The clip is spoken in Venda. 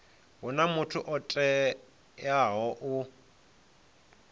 huna muthu o teaho u